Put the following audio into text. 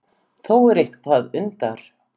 Þó er eitthvað undar